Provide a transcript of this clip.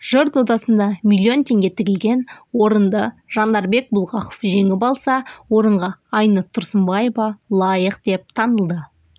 жыр додасында миллион теңге тігілген орынды жандарбек бұлғақов жеңіп алса орынға айнұр тұрсынбаева лайық деп танылды